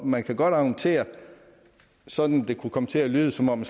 man kan godt argumentere så det kunne komme til at lyde som om